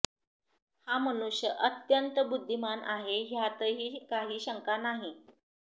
हा मनुष्य अत्यंत बुद्धिमान आहे ह्यातही काही शंका नाही